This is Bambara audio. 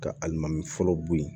Ka alimami fɔlɔ bo yen